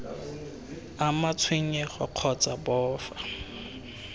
ama tshenyego kgotsa b fa